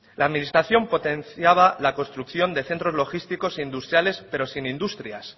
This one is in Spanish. la administración potenciaba la construcción de centros logísticos e industriales pero sin industrias